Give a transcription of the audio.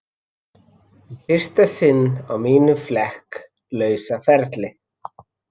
Í fyrsta sinn á mínum flekk lausa ferli.